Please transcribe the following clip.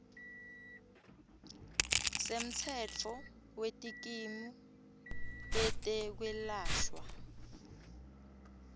semtsetfo wetikimu tetekwelashwa